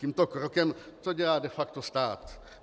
Tímto krokem co dělá de facto stát?